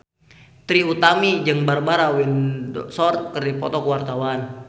Trie Utami jeung Barbara Windsor keur dipoto ku wartawan